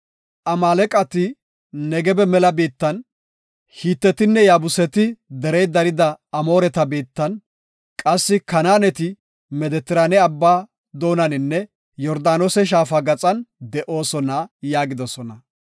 Amaaleqati Negebe mela biittan; Hitetinne, Yaabuseti derey dariya Amooreta biittan; qassi Kanaaneti Medetiraane Abbaa doonaninne Yordaanose shaafa gaxan de7oosona” yaagidosona.